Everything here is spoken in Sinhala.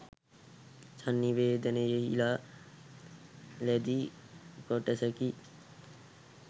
සංනිවේදනයෙහිලා ලැදි කොටසකි.